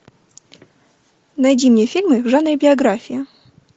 найди мне фильмы в жанре биография